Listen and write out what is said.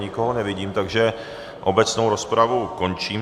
Nikoho nevidím, takže obecnou rozpravu končím.